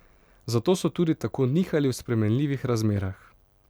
Zato so tudi tako nihali v spremenljivih razmerah.